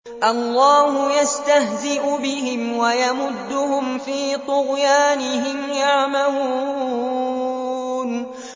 اللَّهُ يَسْتَهْزِئُ بِهِمْ وَيَمُدُّهُمْ فِي طُغْيَانِهِمْ يَعْمَهُونَ